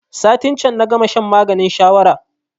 Satin can na gama shan maganin shawara